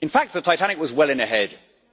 In fact, the Titanic was well in